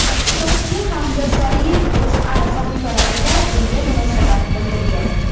Iqtisodchi Hamza Sariyev O‘zA sahifalarida bunga munosabat bildirgan .